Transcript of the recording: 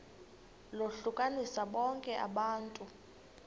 lohlukanise bonke abantu